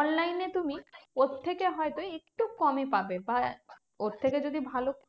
online এ তুমি ওর থেকে হয়তো একটু কমে পাবে বা ওর থেকে যদি ভালো